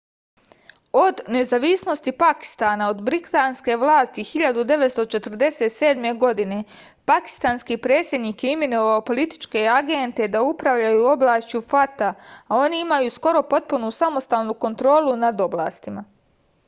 od nezavisnosti pakistana od britanske vlasti 1947. godine pakistanski predsednik je imenovao političke agente da upravljaju oblašću fata a oni imaju skoro potpunu samostalnu kontrolu nad oblastima